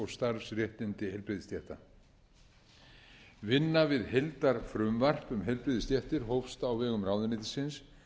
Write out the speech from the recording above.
starfsréttindi heilbrigðisstétta vinna við heildarfrumvarp um heilbrigðisstéttir hófst á vegum ráðuneytisins